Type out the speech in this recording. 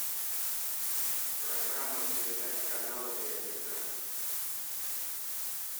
программа передач канала пятница